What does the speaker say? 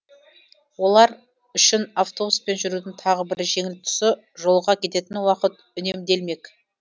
олар үшін автобуспен жүрудің тағы бір жеңіл тұсы жолға кететін уақыт үнемделмек